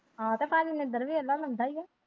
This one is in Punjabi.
ਆਹੋ ਤੇ ਪਾਜੀ ਹੀ ਹੈ।